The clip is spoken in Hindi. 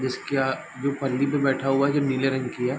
जिसके अ जो पली पे बैठा हुआ है वह नीले रंग की है |